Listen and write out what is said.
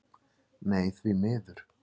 Nei því miður.